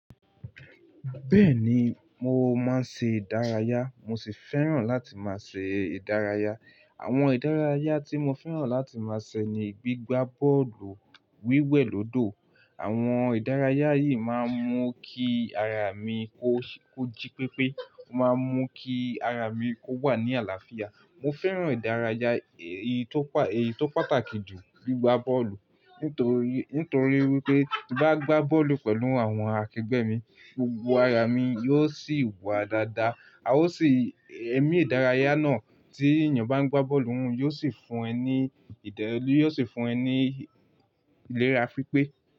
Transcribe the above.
Bẹ́ẹ̀ni, mo máa ń ṣe ìdárayá, mo sì fẹ́ràn láti máa ṣe ìdárayá. Àwọn ìdárayá tí mo fẹ́ràn láti máa ṣe ni gbígbá bọ́ọ̀lù, wíwẹ̀ lódò. Àwọn ìdárayá yìí máa ń mú kí ara mi kó jí pépé, ó máa ń mú kí ara mi kó wà ní àlàáfíà. Mo fẹ́ràn ìdárayá èyí tó pàtàkì jù, gbígbá bọ́ọ̀lù. Nít'orí wí pé, tí n bá gbá bọ́ọ̀lù pẹ̀lú àwọn akẹgbẹ́ mi, gbogbo ara mi yóò sì wà dáadáa, ara yóò sì, ẹ̀mí ìdárayá náà tí èèyàn bá ń gbá bọ́ọ̀lù, yóò sì ń fún ẹ ní ìlera pípé.